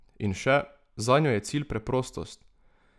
In še: "Zanjo je cilj preprostost.